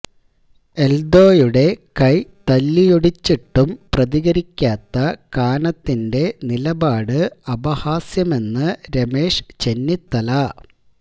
എൽദോയുടെ കൈ തല്ലിയൊടിച്ചിട്ടും പ്രതികരിക്കാത്ത കാനത്തിന്റെ നിലപാട് അപഹാസ്യമെന്ന് രമേശ് ചെന്നിത്തല